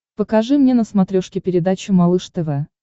покажи мне на смотрешке передачу малыш тв